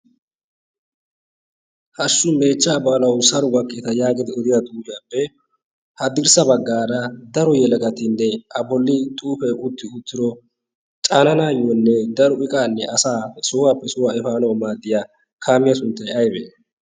hashu meechchaa baalawu saro gakkideta yaagid oriya xuuhuyaappe haddirssa baggaara daro yeelagatinne a bolli xuufe utti uttiro caananaayyoonne daro iqaanne asaa sohuwaappe sohuwaa efaano maaddiya kaamiyaa sunttay aybee?